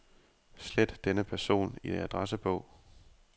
Slet denne person i adressebog.